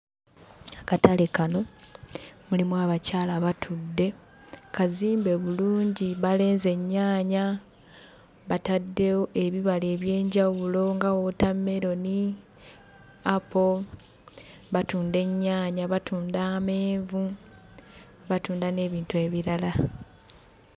Akatale kano mulimu abakyala batudde. Kazimbe bulungi, balenze ennyaanya, bataddewo ebibala eby'enjawulo nga wootameroni, apo, batunda ennyaanya, batunda amenvu, batunda n'ebintu ebirala.